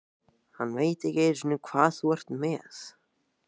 Hann veit ekki einu sinni hvað þú ert með.